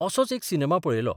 असोच एक सिनेमा पळयलो.